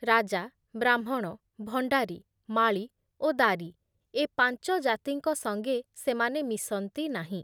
ରାଜା, ବ୍ରାହ୍ମଣ, ଭଣ୍ଡାରୀ, ମାଳୀ ଓ ଦାରୀ ଏ ପାଞ୍ଚଜାତିଙ୍କ ସଙ୍ଗେ ସେମାନେ ମିଶନ୍ତି ନାହିଁ ।